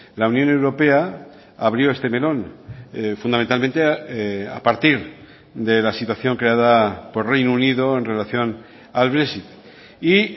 la unión europea abrió este melón fundamentalmente a partir de la situación creada por reino unido en relación al brexit y